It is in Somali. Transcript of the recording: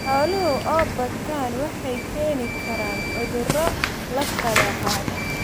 Xooluhu oo bataan waxay keeni karaan cuduro la kala qaado.